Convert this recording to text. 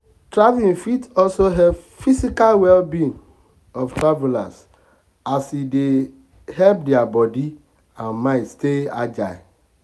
traveling fit also help physical well being of travelers as e dey help their body and mind stay agile.